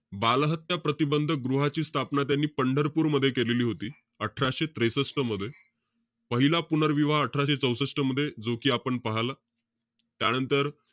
बालहत्या प्रतिबंध गृहाची स्थापना त्यांनी पंढरपूर मध्ये केलेली होती. अठराशे त्रेसष्ट मध्ये. पहिला पुनर्विवाह अठराशे चौसष्ट मध्ये, जो कि आपण पहाला. त्यानंतर,